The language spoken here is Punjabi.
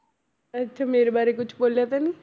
ਅੱਛਾ ਮੇਰੇ ਬਾਰੇ ਕੁਛ ਬੋਲਿਆ ਤਾਂ ਨੀ